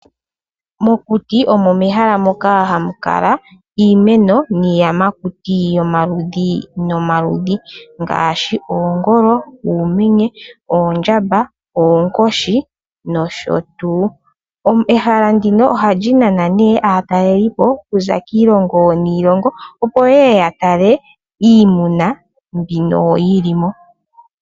Mokuti omo mehala moka mu na iimeno niiyamakuti yomaludhi nomaludhi ngaashi oongolo, uumenye, oondjamba, oonkooshi nsh. Ehala ndino oha li nana ne aatalelipo ku za kiilongo niilongo, opo ye ye ya tale iimuna mbino yi li mo.